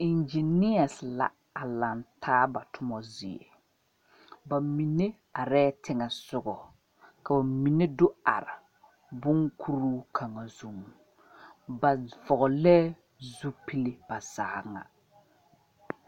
Engineers la laŋ taa ba tuma zie ,ba mine are teŋa sɔga ka ba mine do are bon kuri kaŋa zuɛ, ba vɔgle zupelee ba zaa ŋa.